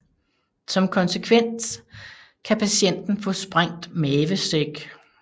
Som konsekvens kan patienten få sprængt mavesæk